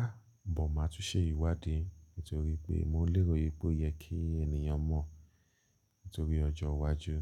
Àh! But máa tún ṣe ìwádìí nítorí pé mo lérò wípé ó yẹ kí ènìyàn mọ̀ nítorí ọjọ́ iwájú.